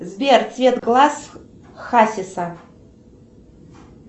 сбер цвет глаз хасиса